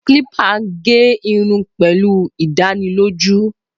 Clipper gé irun pẹ̀lú ìdánilójú.